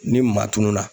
Ni maa tununa